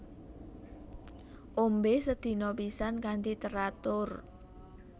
Ombe sedina pisan kanthi teratur